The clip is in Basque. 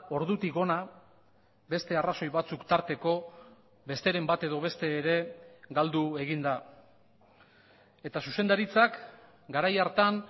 ordutik hona beste arrazoi batzuk tarteko besteren bat edo beste ere galdu egin da eta zuzendaritzak garai hartan